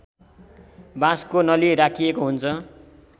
बाँसको नली राखिएको हुन्छ